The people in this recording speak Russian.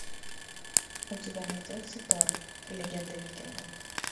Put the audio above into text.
у тебя найдется тор легенда викингов